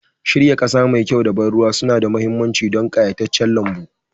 Shirya ƙasa mai kyau da ban ruwa suna da mahimmanci don ƙayataccen lambu